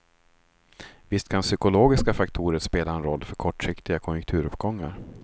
Visst kan psykologiska faktorer spela en roll för kortsiktiga konjunkturuppgångar.